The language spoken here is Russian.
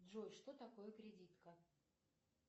джой что такое кредитка